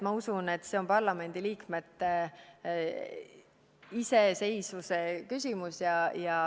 Ma usun, et see on parlamendi liikmete iseseisvuse küsimus.